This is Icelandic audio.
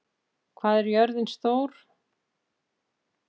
, hvað er jörðin stór?